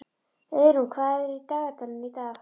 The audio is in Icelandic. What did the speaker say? Auðrún, hvað er í dagatalinu í dag?